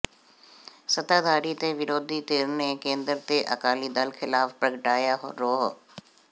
ਸੱਤਾਧਾਰੀ ਤੇ ਵਿਰੋਧੀ ਧਿਰ ਨੇ ਕੇਂਦਰ ਤੇ ਅਕਾਲੀ ਦਲ ਖ਼ਿਲਾਫ਼ ਪ੍ਰਗਟਾਇਆ ਰੋਹ